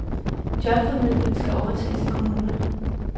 Jobformidling skal overtages af kommunerne.